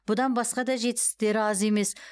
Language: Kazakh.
бұдан басқа да жетістіктері аз емес